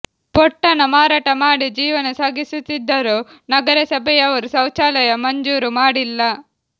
ಪೊಟ್ಟಣ ಮಾರಾಟ ಮಾಡಿ ಜೀವನ ಸಾಗಿಸುತ್ತಿದ್ದರೂ ನಗರಸಭೆಯವರು ಶೌಚಾಲಯ ಮಂಜೂರು ಮಾಡಿಲ್ಲ